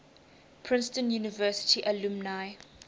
princeton university alumni